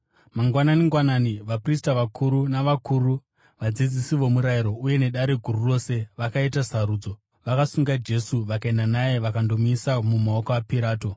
Mangwanani-ngwanani, vaprista vakuru navakuru, vadzidzisi vomurayiro uye neDare Guru rose, vakaita sarudzo. Vakasunga Jesu, vakaenda naye vakandomuisa mumaoko aPirato.